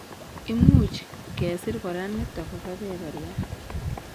Imuch kesir kora nitok ko kebeberyat